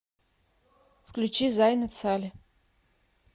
включи зайнет сали